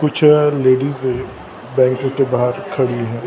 कुछ ladies bank के बाहर खड़ी है।